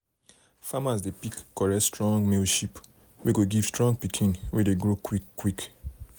farmers dey pick correct strong male sheep wey go give strong pikin wey dey grow quick quick.